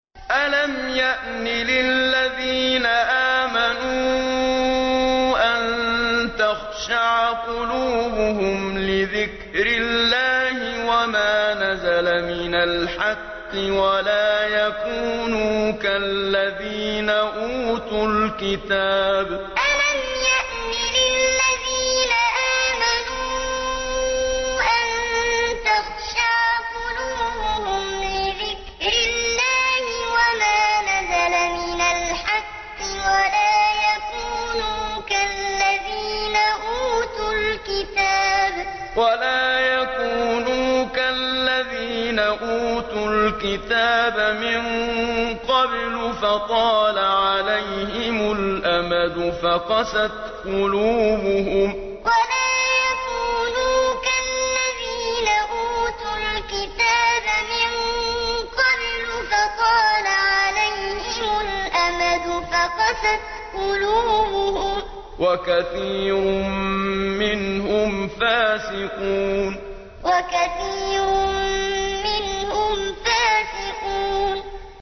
۞ أَلَمْ يَأْنِ لِلَّذِينَ آمَنُوا أَن تَخْشَعَ قُلُوبُهُمْ لِذِكْرِ اللَّهِ وَمَا نَزَلَ مِنَ الْحَقِّ وَلَا يَكُونُوا كَالَّذِينَ أُوتُوا الْكِتَابَ مِن قَبْلُ فَطَالَ عَلَيْهِمُ الْأَمَدُ فَقَسَتْ قُلُوبُهُمْ ۖ وَكَثِيرٌ مِّنْهُمْ فَاسِقُونَ ۞ أَلَمْ يَأْنِ لِلَّذِينَ آمَنُوا أَن تَخْشَعَ قُلُوبُهُمْ لِذِكْرِ اللَّهِ وَمَا نَزَلَ مِنَ الْحَقِّ وَلَا يَكُونُوا كَالَّذِينَ أُوتُوا الْكِتَابَ مِن قَبْلُ فَطَالَ عَلَيْهِمُ الْأَمَدُ فَقَسَتْ قُلُوبُهُمْ ۖ وَكَثِيرٌ مِّنْهُمْ فَاسِقُونَ